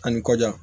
Ani kɔjan